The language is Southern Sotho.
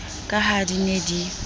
ka ha di ne di